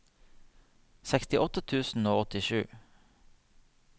sekstiåtte tusen og åttisju